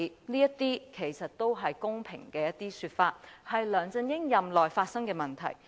這些是公平的說法，是梁振英任內發生的問題。